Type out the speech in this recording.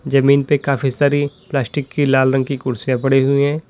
जमीन पे काफी सारी प्लास्टिक की लाल रंग की कुर्सीयां पडी हुएं है।